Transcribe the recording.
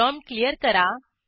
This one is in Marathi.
प्रॉम्प्ट क्लियर करा